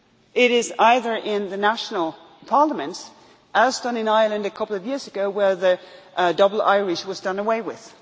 door. It is either in the national parliaments, as done in Ireland a couple of years ago where the double Irish was done away